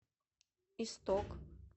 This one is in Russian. исток